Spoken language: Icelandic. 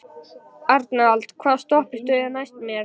Arnald, hvaða stoppistöð er næst mér?